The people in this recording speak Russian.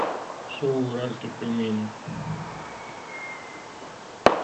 шоу уральских пельменей